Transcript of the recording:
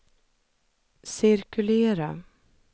cirkulera